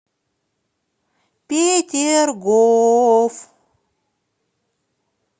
петергоф